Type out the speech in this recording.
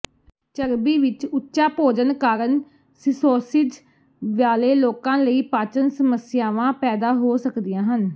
ਚਰਬੀ ਵਿਚ ਉੱਚਾ ਭੋਜਨ ਕਾਰਨ ਸਿਸੋਸਿਜ਼ ਵਾਲੇ ਲੋਕਾਂ ਲਈ ਪਾਚਨ ਸਮੱਸਿਆਵਾਂ ਪੈਦਾ ਹੋ ਸਕਦੀਆਂ ਹਨ